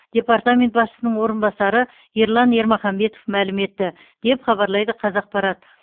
департамент басшысының орынбасары ерлан ермаханбетов мәлім етті деп хабарлайды қазақпарат